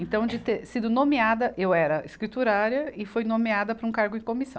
Então, de ter sido nomeada... Eu era escriturária e fui nomeada para um cargo em comissão.